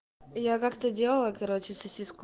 я как-то делала короче сосиску